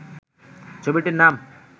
ছবিটির নাম